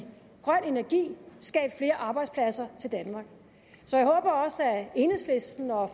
grøn energi og skabe flere arbejdspladser i danmark så jeg håber også at enhedslisten og